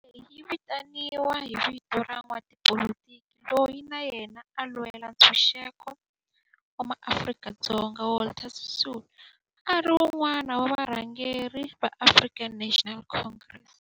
Ndhawo leyi yi vitaniwa hi vito ra n'watipolitiki loyi na yena a lwela ntshuxeko wa maAfrika-Dzonga Walter Sisulu, a ri wun'wana wa varhangeri va African National Congress, ANC.